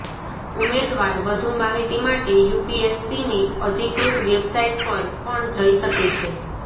ઉમેદવાર વધુ માહિતી માટે યુપીએસસીની અધિકૃત વેબસાઈટ પર પણ જઈ શકે છે